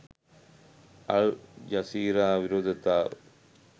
අල් Jazeera විරෝධතාව